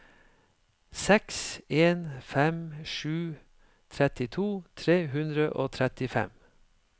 seks en fem sju trettito tre hundre og trettifem